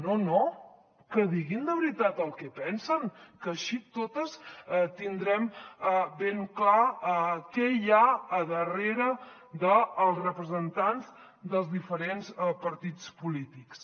no no que diguin de veritat el que pensen que així totes tindrem ben clar què hi ha darrere dels representants dels diferents partits polítics